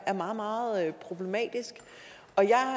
meget meget problematisk og jeg